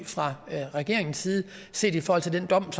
fra regeringens side set i forhold til den dom